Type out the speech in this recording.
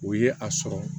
O ye a sɔrɔ